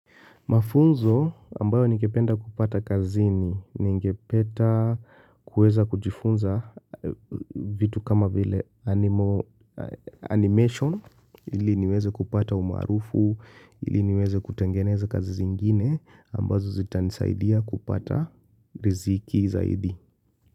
Mafunzo ambayo ningependa kupata kazini ningepeta kuweza kujifunza vitu kama vile animation ili niweze kupata umaarufu, ili niweze kutengeneza kazi zingine ambazo zitanisaidia kupata riziki zaidi.